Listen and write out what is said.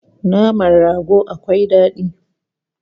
Naman rago akwai dadi